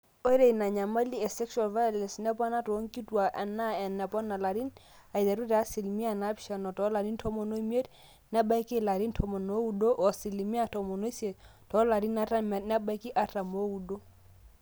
ore ina nyamali e sexual violence nepona toonkituaak enaa enepona ilarin, aiteru te asilimia naapishana toolarin tomon oimiet nebaiki ilarin tomon ooudo o asilimia tomon oisiet toolarin artam nebaiki artam ooudo